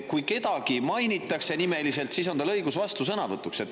Kui kedagi mainitakse nimeliselt, siis on tal õigus vastusõnavõtuks.